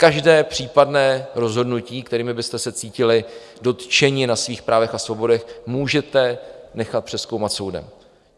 Každé případné rozhodnutí, kterým byste se cítili dotčeni na svých právech a svobodách, můžete nechat přezkoumat soudem.